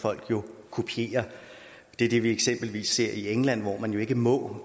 folk kopierer det er det vi i eksempelvis ser i england hvor man ikke må